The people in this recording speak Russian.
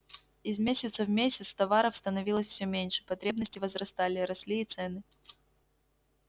из месяца в месяц товаров становилось всё меньше потребности возрастали росли и цены